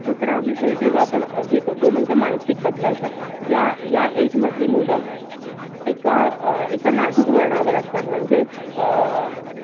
दुसरा विषय जेव्हा आपण अह घेतो. अह तो म्हणजे मानसिक बदलाचा. ह्या अह ह्या age मधली मुलं, एका अह एका नाजूक वळणावर असतात. म्हणजे अह